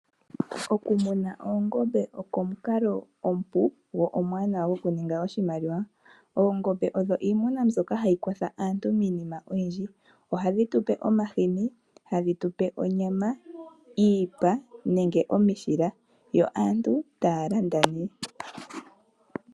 Okumuna oongombe oko omukalo omupu gwo omuwanawa gwokuninga oshimaliwa. Oongombe odho iimuna mbyoka hayi kwatha aantu miinima oyindji. Ohadhi tu pe omahini, hadhi tu pe onyama, iipa nenge omishila yo aantu taya landa nee.